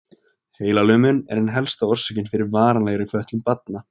Heilalömun er ein helsta orsökin fyrir varanlegri fötlun barna.